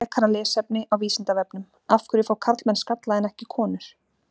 Frekara lesefni á Vísindavefnum Af hverju fá karlmenn skalla en ekki konur?